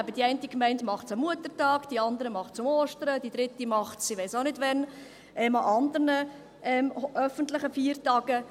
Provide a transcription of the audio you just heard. – Die eine macht es am Muttertag, die andere an Ostern, die dritte macht es an irgendwelchen anderen öffentlichen Feiertagen.